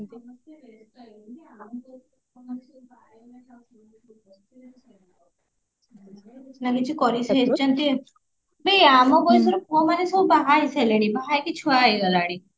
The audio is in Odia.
ନା କିଛି କରିସାରିଛନ୍ତି ବେ ଆମ ବଯସର ପୁଅ ମାନେ ସବୁ ବାହା ହେଇ ସାରିଲେଣି ବାହା ହେଇକି ସବୁ ଛୁଆ ହେଇ ଗଲାଣି